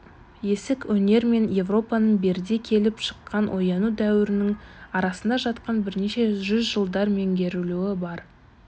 есік өнер мен европаның берде келіп шыққан ояну дәуірінің арасында жатқан бірнеше жүз жылдар меңіреулігі бар